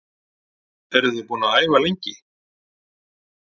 Eruð þið búin að æfa lengi?